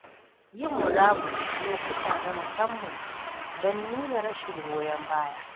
Yin murabus a lokuta na musamman don nuna rashin goyon baya.